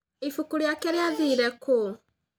Ibuku rĩake rĩathire kũ?